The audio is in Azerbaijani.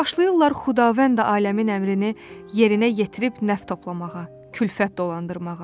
Başlayırlar Xudavənd aləmin əmrini yerinə yetirib nəf toplamağa, külfət dolandırmağa.